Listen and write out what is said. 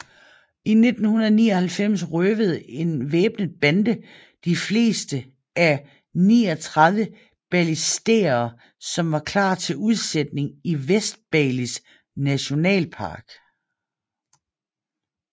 I 1999 røvede en væbnet bande de fleste af 39 balistære som var klar til udsætning i Vestbalis Nationalpark